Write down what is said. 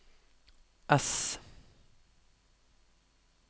S